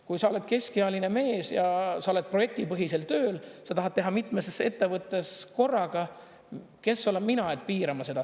Kui sa oled keskealine mees ja sa oled projektipõhisel tööl, sa tahad teha mitmes ettevõttes korraga – kes olen mina piirama seda.